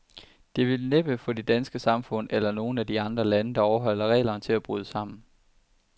Det vil næppe få det danske samfund, eller nogen af de andre lande, der overholder reglerne, til at bryde sammen.